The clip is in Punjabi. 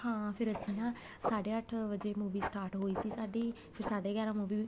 ਹਾਂ ਫੇਰ ਇੱਦਾਂ ਨਾ ਸਾਡੇ ਅੱਠ ਵਜੇ movie start ਹੋਈ ਸੀ ਸਾਡੀ ਫੇਰ ਸਾਡੇ ਗਿਆਰਾ movie